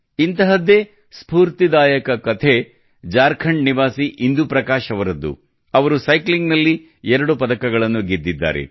ಇಂತಹದ್ದೇ ಸ್ಫೂರ್ತಿದಾಯಕ ಕತೆ ಝಾರ್ಖಂಡ್ ನಿವಾಸಿ ಇಂದುಪ್ರಕಾಶ್ ಅವರದ್ದು ಇವರು ಸೈಕ್ಲಿಂಗ್ ನಲ್ಲಿ ಎರಡು ಪದಕಗಳನ್ನು ಗೆದ್ದಿದ್ದಾರೆ